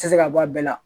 Tɛ se ka bɔ a bɛɛ la